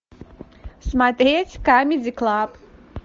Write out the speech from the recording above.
смотреть камеди клаб